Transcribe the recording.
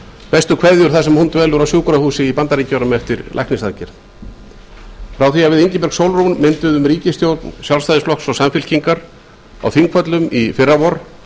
bestu kveðjur þar sem hún dvelur á sjúkrahúsi í bandaríkjunum eftir læknisaðgerð frá því að við ingibjörg sólrún mynduðum ríkisstjórn sjálfstæðisflokks og samfylkingar á þingvöllum í fyrravor